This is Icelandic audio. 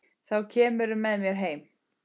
Þá kemurðu með mér heim.